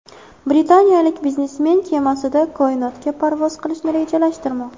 Britaniyalik biznesmen kemasida koinotga parvoz qilishni rejalashtirmoqda.